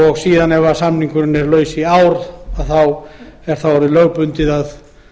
og síðan ef samningur er laus í eitt ár er orðið lögbundið að